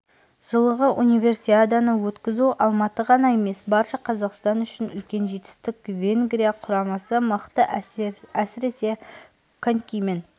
жылғы универсиаданы өткізу алматы ғана емес барша қазақстан үшін үлкен жетістік венгрия құрамасы мықты әсіресе конькимен